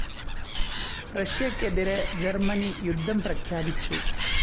റഷ്യക്കെതിരെ Germany യുദ്ധം പ്രഖ്യാപിച്ചു.